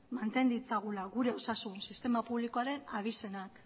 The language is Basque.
manten ditzagula gure osasun sistema publikoaren abizenak